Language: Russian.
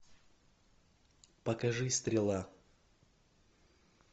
покажи стрела